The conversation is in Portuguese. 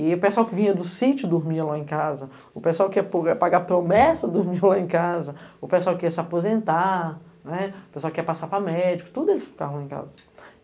E o pessoal que vinha do sítio dormia lá em casa, o pessoal que ia pagar promessa dormia lá em casa, o pessoal que ia se aposentar, o pessoal que ia passar para médico, tudo eles ficavam lá em casa.